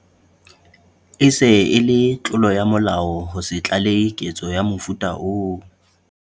E se e le tlolo ya molao ho se tlalehe ketso ya mofuta oo.